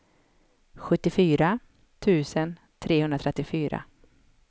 sjuttiofyra tusen trehundratrettiofyra